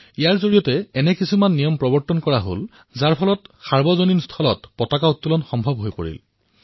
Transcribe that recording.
এই কোডৰ দ্বাৰা এনেকুৱা নিয়ম প্ৰস্তুত কৰা হল যত সাৰ্বজনিক স্থানত ত্ৰিৰংগা উৰুওৱা সম্ভৱ হল